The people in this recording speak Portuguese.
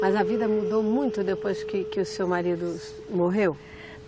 Mas a vida mudou muito depois que, que o seu marido morreu?